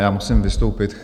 Já musím vystoupit.